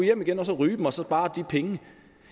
hjem igen og ryge dem og så spare de penge